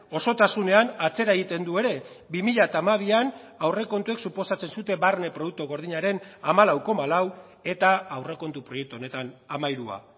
osotasunean atzera egiten du ere bi mila hamabian aurrekontuek suposatzen zuten barne produktu gordinaren hamalau koma lau eta aurrekontu proiektu honetan hamairua